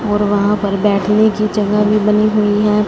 और वहां पर बैठने की जगह भी बनी हुई है।